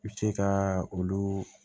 I bɛ se ka olu